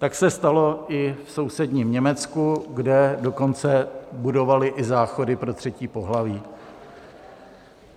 Tak se stalo i v sousedním Německu, kde dokonce budovali i záchody pro třetí pohlaví.